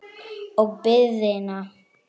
Og biðina.